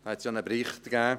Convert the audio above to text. Dazu gab es einen Bericht.